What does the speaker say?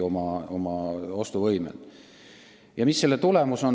Ja mis selle kõige tagajärg on?